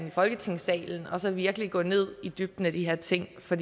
i folketingssalen og så virkelig gå i dybden med de her ting for